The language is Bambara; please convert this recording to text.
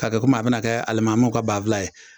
K'a kɛ komi a bɛna kɛ alimamiw ka banfula ye